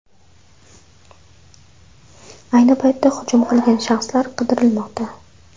Ayni paytda hujum qilgan shaxslar qidirilmoqda.